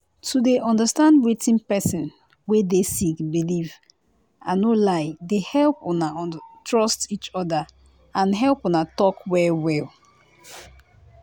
to dey understand wetin pesin wey dey sick believe i no lie dey help una trust each other and help una talk well well.